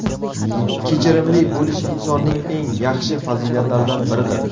Kechirimli bo‘lish insonning eng yaxshi fazilatlaridan biridir.